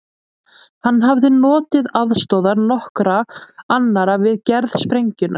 Hann hafði notið aðstoðar nokkurra annarra við gerð sprengjunnar.